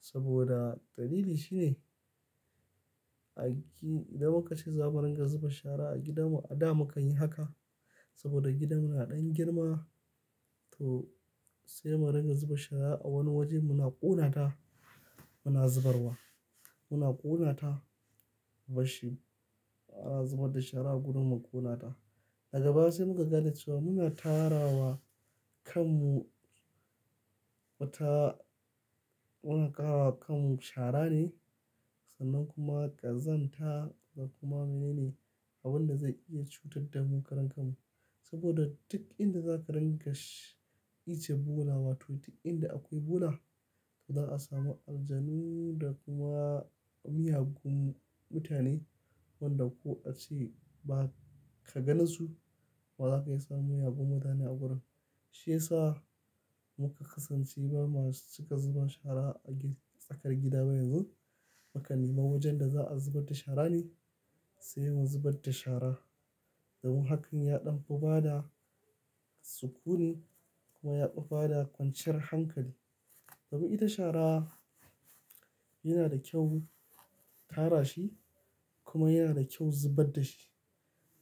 Saboda dalili shine idan muka ce za mu ringa zuba shara a gidanmu a da muka yi haka saboda gidanmu na ɗan girma to sai mu ringa zuba shara a wani waje muna ƙona ta muna zubarwa. Muna ƙona ta bashi a zubar da shara gudu mu ƙona ta. A gaba sai muka ga da cewa muna tara wa kanmu wata, muna ƙara wa kanmu shara ne sannan kuma ƙazanta da kuma mene ne abin da zai iya cutar da mu karen kanmu. Saboda duk inda za ka ringa ice bula wato duk inda akwai bula to za a samu aljanu da kuma miyagun mutane wanda ko ace ba ka ganasu wa za ka iya sa miyagun mutane a gurin. Shi yasa muka kasance ba masu cika zuba shara a tsakar gida ba yanzu. Makan nema wajen da za a zubar da shara ne sai mun zubar da shara. Domin haka ya ɗauku bada sukuni kuma ya ɗauku bada kwanciyar hankali. Domin ita shara yana da kyau tara shi kuma yana da kyau zubar da shi.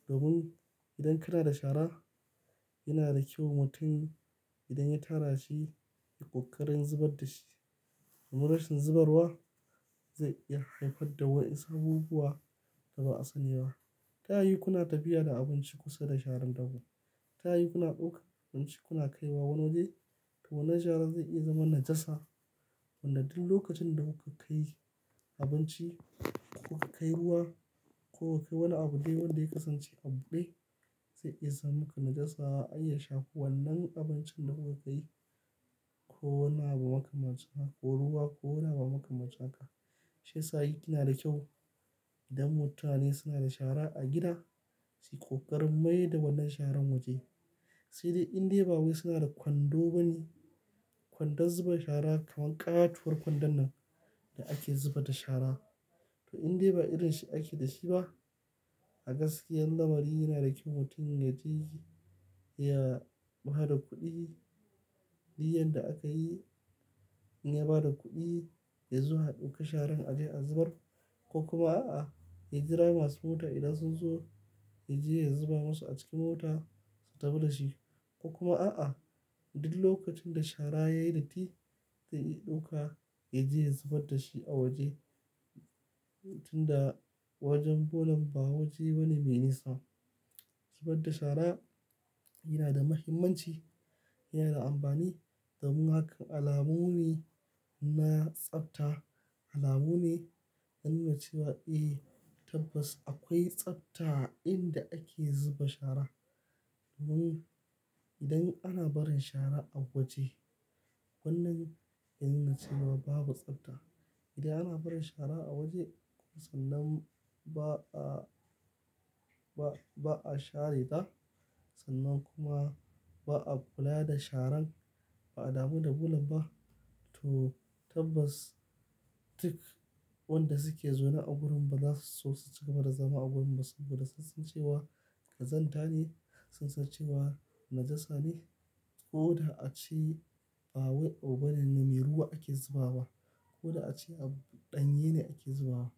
Domin idan kana da shara yana da kyau mutum idan ya tara shi ya ƙoƙari zubar da shi. Domin rashin zubarwa zai iya haifar da wasu abubuwa da ba a sani ba. Ta yi kuna tafiya da abinci kusa da sharan dabo. Ta yi kuna ɗauka abinci kuna kaiwa wani waje to wannan shara zai iya zama najasa. Wanda duk lokacin da kuka kai abinci ko ka kai ruwa ko ka kai wani abu dai wanda ya kasance abun kai zai iya sa muku najasa an iya shafo wannan abincin da kuka kai ko wanna abu maka mace haka ko ruwa ko wanna abu maka mace haka. Shi yasa yake yana da kyau idan mutane suna da shara a gida su ƙoƙari mai da wannan sharan waje. Sai dai indai ba wai suna da kwando bane kwandon zuba shara kaman ƙatuwar kwandon nan da ake zuba shara. To inda ba irin shi ake da shi ba a gaskiya lamari yana da kyau mutum ya je ya ba da kuɗi. Duk yanda aka yi in ya ba da kuɗi ya zo a dauki sharan a je a zubar. Ko kuma a'a, ya jira masu mota idan sun zo ya je ya zuba masu a cikin mota su tafi da shi. Ko kuma a'a, duk lokacin da shara yayi datti ta iya ɗauka ya je ya zubar da shi a waje. Tunda wajen bolan ba waje bane mai nisa. Zubar da shara yana da muhimmanci, yana da amfani. Domin haka alamu ne na tsafta, alamu ne na nuna cewa eh tabbas akwai tsafta a inda ake zuba shara. Domin idan ana barin shara a waje wannan yana nuna cewa babu tsafta. Idan ana barin shara a waje sannan ba a, ba, ba a share ta sannan kuma ba a kula da sharan ba a damu da bulan ba to tabbas duk wanda suke zaune a gurin ba za su so su cika ba da zama a gurin ba saboda sun san cewa ƙazanta ne, sun san cewa najasa ne. Ko da ace ba wai ogbanen ne mai ruwa ake zubawa ko da ace a ɗanye ne ake zubawa.